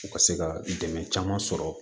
U ka se ka dɛmɛ caman sɔrɔ